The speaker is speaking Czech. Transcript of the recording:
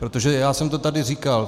Protože já jsem to tady říkal.